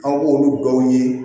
Aw b'olu dɔw ye